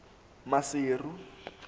maseru